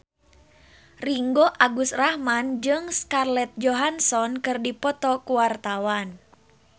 Ringgo Agus Rahman jeung Scarlett Johansson keur dipoto ku wartawan